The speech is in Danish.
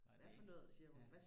nej det er ikke ja